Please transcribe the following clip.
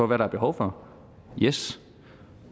hvad der er behov for yes